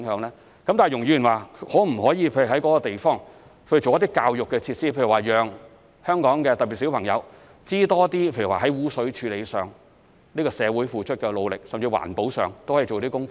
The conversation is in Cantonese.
然而，容議員說可否在那個地方做一些教育設施，例如讓香港市民——特別是小朋友——多認識社會對污水處理付出的努力，甚至在環保上都可以做些工夫？